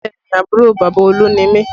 Bẹẹ ni, àbúrò bàbá Olú ni mi